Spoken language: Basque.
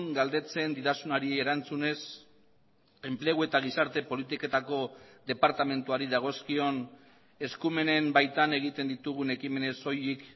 galdetzen didazunari erantzunez enplegu eta gizarte politiketako departamentuari dagozkion eskumenen baitan egiten ditugun ekimenez soilik